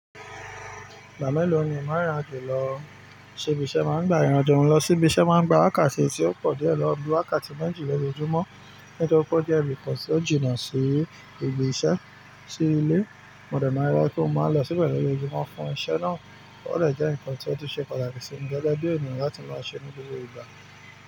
Ìgbà mélòó ni o máa ń ráyè lọ sí ibi iṣẹ́ má ń gba ìrìn àjò lọ sí ibi iṣẹ́ má ń gba wákàtí tí ó pọ̀ díẹ̀ lọ bí wákàtí méjì lọjọjúmọ́, nítorí pé jìnnà sí ibi iṣẹ́ sí ilé. Mo dẹ̀ máa rí pé ó máa ń lọ sí pẹ̀lú ilé, kí wọ́n fún iṣẹ́ náà. Ó dẹ̀ jẹ́ ǹkan tí ó tún ṣe pàtàkì sí mi. Gẹ́gẹ́ bí ènìyàn láti máa ṣe ní gbogbo ìgbà.